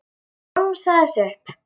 Hann romsaði þessu upp.